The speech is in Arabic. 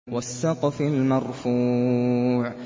وَالسَّقْفِ الْمَرْفُوعِ